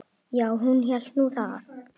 Já, hún hélt nú það.